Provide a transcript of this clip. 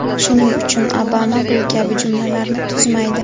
Shuning uchun Obama bu kabi jumlalarni tuzmaydi.